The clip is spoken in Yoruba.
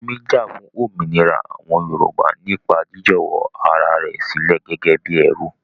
Moremi jà fún òmìnira àwọn Yorùbá nípa jiíjọ̀wọ́ ara rẹ̀ sílẹ̀ gẹ́gẹ́ bí ẹrú.